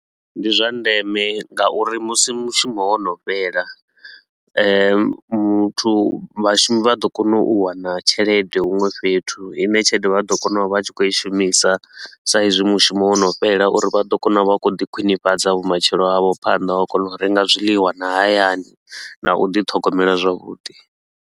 Ndi zwa ndeme nga uri musi mushumo wo no fhela muthu vhashumi vha ḓo kona u wana tshelede huṅwe fhethu i ne tshelede vha ḓo kona u vha vha tshi khou i shumisa. Sa izwi mushumo wo no fhela uri vha ḓo kona u vha vha khou ḓi khwinifhadza vhumatshelo havho phanḓa, u a kona u renga zwiḽiwa na hayani na u ḓi ṱhogomela zwavhuḓi.